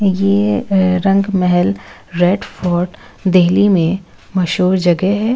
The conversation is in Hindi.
यह रंग महल रेडफोर्ट दिल्ली में मशहूर जगह है।